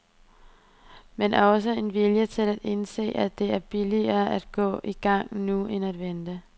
Men også en vilje til at indse, at det er billigere at gå i gang nu end at vente.